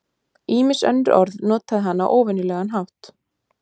ýmis önnur orð notaði hann á óvenjulegan hátt